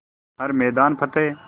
हर मैदान फ़तेह